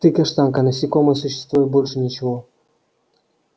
ты каштанка насекомое существо и больше ничего